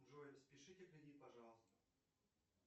джой спишите кредит пожалуйста